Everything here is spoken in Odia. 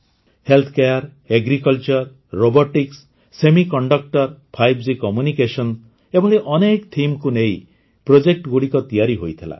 Healthcare agriculture robotics semiconductors 5G communications ଏଭଳି ଅନେକ Themesକୁ ନେଇ Projectଗୁଡ଼ିକ ତିଆରି ହୋଇଥିଲା